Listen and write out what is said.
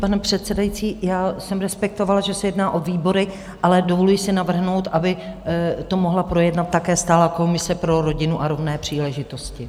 Pane předsedající, já jsem respektovala, že se jedná o výbory, ale dovoluji si navrhnout, aby to mohla projednat také stálá komise pro rodinu a rovné příležitosti.